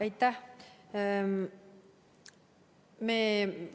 Aitäh!